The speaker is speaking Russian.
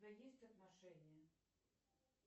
у тебя есть отношения